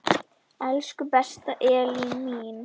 Elsku besta Elín mín.